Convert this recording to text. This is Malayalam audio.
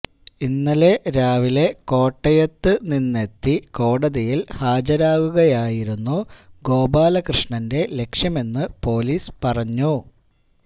ഇന്നലെ രാവിലെ കോട്ടയത്തു നിന്നെത്തി കോടതിയില് ഹാജരാകുകയായിരുന്നു ഗോപാലകൃഷ്ണന്റെ ലക്ഷ്യമെന്ന് പോലീസ് പറഞ്ഞു